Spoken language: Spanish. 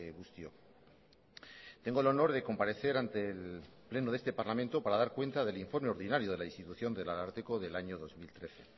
guztiok tengo el honor de comparecer ante el pleno de este parlamento para dar cuenta del informe ordinario de la institución del ararteko del año dos mil trece